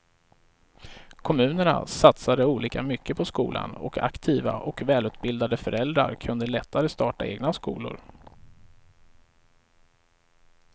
Kommunerna satsade olika mycket på skolan och aktiva och välutbildade föräldrar kunde lättare starta egna skolor.